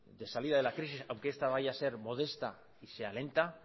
de salida de la crisis aunque esta vaya a ser modesta y lenta